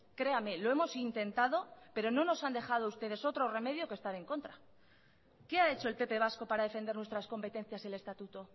créame lo hemos intentado pero no nos han dejado ustedes otros remedio que estar en contra qué ha hecho el pp vasco para defender nuestras competencias del estatuto